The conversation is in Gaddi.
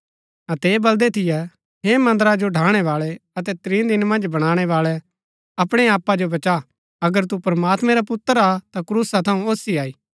अतै ऐह बलदै थियै हे मन्दरा जो ढ़ाणैवाळै अतै त्रीं दिन मन्ज बणाणै बाळै अपणै आपा जो बचा अगर तू प्रमात्मैं रा पुत्र हा ता क्रूसा थऊँ ओसी आई